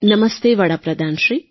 નમસ્તે વડા પ્રધાનશ્રી